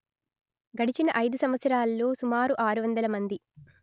గడిచిన ఐదు సంవత్సరాలలో సుమారు ఆరు వందల మంది